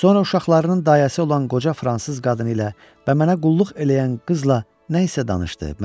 Sonra uşaqlarının dayəsi olan qoca fransız qadını ilə və mənə qulluq eləyən qızla nəsə danışdı.